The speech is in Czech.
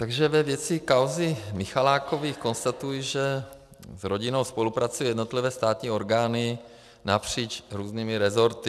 Takže ve věci kauzy Michalákových konstatuji, že s rodinou spolupracují jednotlivé státní orgány napříč různými resorty.